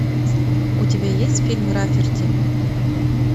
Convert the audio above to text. у тебя есть фильм рафферти